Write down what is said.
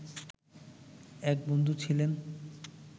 এক বন্ধু ছিলেন